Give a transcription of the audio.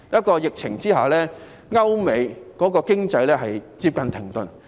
在疫情之下，歐美經濟接近停頓。